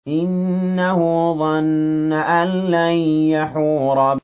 إِنَّهُ ظَنَّ أَن لَّن يَحُورَ